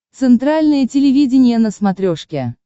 центральное телевидение на смотрешке